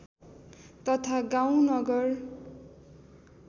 तथा गाउँ नगर